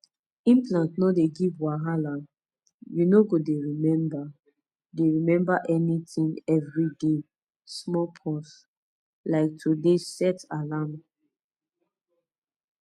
implant no dey give wahala you no go dey remember dey remember anything every day small pause like to dey set alarm